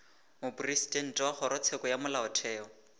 mopresidente wa kgorotsheko ya molaotheo